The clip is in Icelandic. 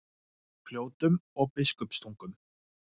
Fljótum og Biskupstungum.